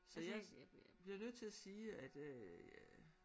Så jeg blev nødt til at sige at øh ja